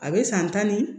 A bɛ san tan ni